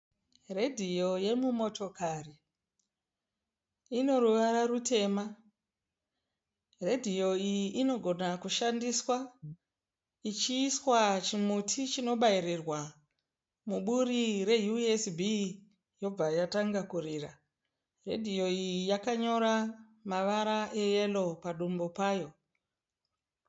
Redhiyo yemumotokari inoruvara rutema redhiyo iyi inogona kushandiswa ichiiswa chimuti chinobairirwa muburi re USB yobva yatanga kurira redhiyo iyi yakanyora mavara eyero padumbu payo.